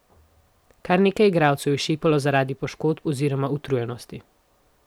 Kar nekaj igralcev je šepalo zaradi poškodb oziroma utrujenosti.